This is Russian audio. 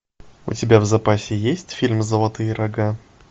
у тебя в запасе есть фильм золотые рога